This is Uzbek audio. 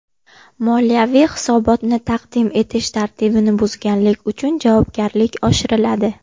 Moliyaviy hisobotni taqdim etish tartibini buzganlik uchun javobgarlik oshiriladi.